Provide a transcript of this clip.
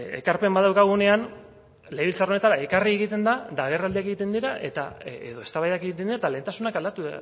ekarpen bat daukagunean legebiltzar honetara ekarri egiten da eta agerraldiak egiten dira edo eztabaidak egiten dira eta lehentasunak aldatu